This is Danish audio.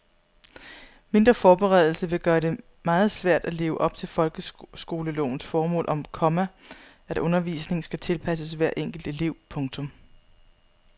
Mindre forberedelse vil gøre det meget svært at leve op til folkeskolelovens formål om, komma at undervisningen skal tilpasses hver enkelt elev. punktum